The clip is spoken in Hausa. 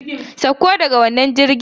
Sauko daga wannan jirgin!